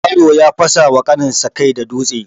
Yaro ya fasawa ƙanin sa kai da dutse.